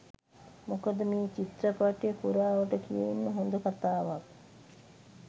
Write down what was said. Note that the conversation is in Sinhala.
මොකද මේ චිත්‍රපටය පුරාවට කියවෙන්න හොඳ කතාවක්.